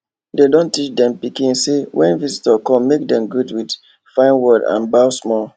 dey don teach dem pikin say when visitor come make dem greet with fine word and bow small